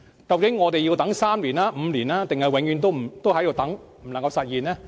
究竟我們要等三年、五年，還是永遠也不能實現？